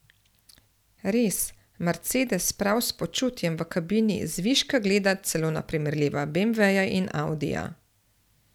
Res, mercedes prav s počutjem v kabini zviška gleda celo na primerljiva beemveja in audija.